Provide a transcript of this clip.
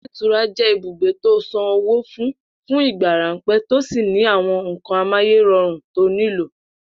Ilé ìtura jé̩ ibùgbe to san owó fún fún ìgbà ráńpé̩ tó sì ní àwo̩n nǹkan amáyéro̩rùn to nílò